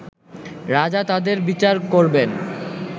রাজা তাদের বিচার করবেন